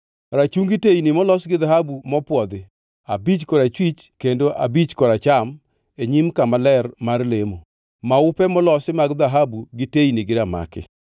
rachungi teyni molos gi dhahabu mopwodhi (abich korachwich kendo abich koracham e nyim kama ler mar lemo); maupe molosi mag dhahabu gi teyni gi ramaki;